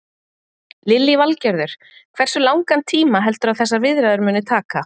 Lillý Valgerður: Hversu langan tíma heldurðu að þessar viðræður muni taka?